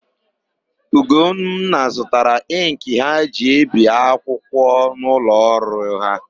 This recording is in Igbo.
Ugonna zụtara ịnkị ha ji ebi akwụkwọ n'ụlọọrụ ha.